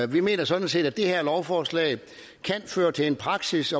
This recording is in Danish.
vi mener sådan set at det her lovforslag kan føre til en praksis